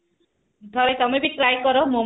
ଘରେ ତମେବି try କର ମୋମୋ